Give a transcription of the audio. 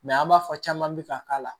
Mɛ an b'a fɔ caman bɛ ka k'a la